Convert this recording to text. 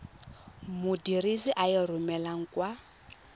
modirisi a e romelang kwa